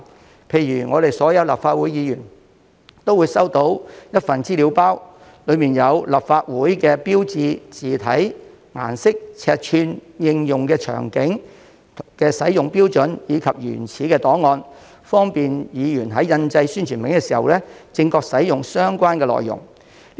舉例而言，所有立法會議員都會收到一份資料包，當中有立法會標誌的字體、顏色、尺寸、應用場景和使用標準的資料，以及相關的原始檔案，方便議員在印製宣傳品時正確使用相關內容。